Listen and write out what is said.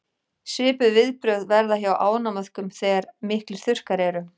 svipuð viðbrögð verða hjá ánamöðkum þegar miklir þurrkar eru